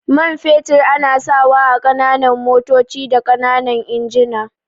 Man fetur ana sawa ƙananan motoci da ƙananan injina.